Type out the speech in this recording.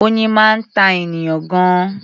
Oyin máa ń ta ènìyàn gan-an.